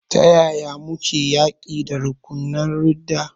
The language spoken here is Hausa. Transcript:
To, ta yaya muke yaƙi da rukunan ridda?